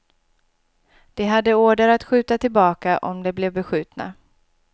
De hade order att skjuta tillbaka om de blev beskjutna.